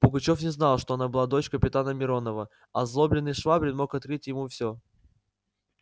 пугачёв не знал что она была дочь капитана миронова озлобленный швабрин мог открыть ему всё